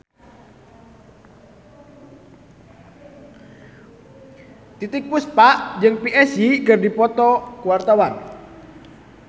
Titiek Puspa jeung Psy keur dipoto ku wartawan